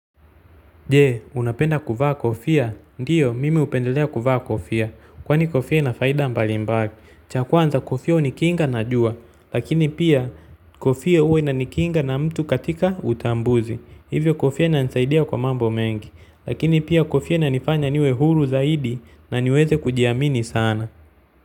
Je, unapenda kuvaa kofia? Ndiyo, mimi hupendelea kuvaa kofia. Kwani kofia ina faida mbalimbali. Cha kwanza kofia hunikinga na jua. Lakini pia kofia huwa inanikinga na mtu katika utambuzi. Hivyo kofia inanisaidia kwa mambo mengi. Lakini pia kofia inanifanya niwe huru zaidi na niweze kujiamini sana.